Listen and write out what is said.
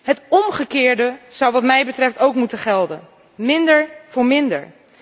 Het omgekeerde zou wat mij betreft ook moeten gelden minder voor minder.